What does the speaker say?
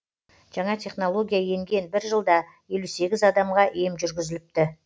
жаңа технология енген бір жылда елу сегіз адамға ем жүргізіліпті